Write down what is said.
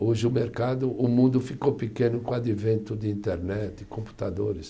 Hoje o mercado, o mundo ficou pequeno com o advento de internet e computadores.